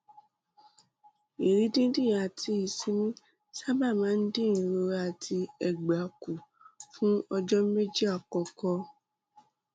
ìrì dídì àti ìsinmi sábà máa ń dín ìrora àti ẹgbà kù fún ọjọ méjì àkọkọ